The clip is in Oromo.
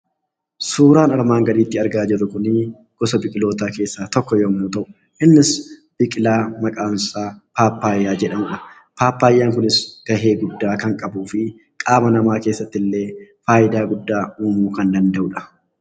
Suuraan armaan gadiitti argaa jirru Kunii, gosa biqilootaa keessaa tokko yemmuu ta'u, innis biqilaa maqaan isaa pappaayyaa jedhamudha. Pappaayyaan kunis gahee guddaa kan qabu fi qaama namaa keessatti illee fayidaa guddaa uumuu kan danda'udhaa.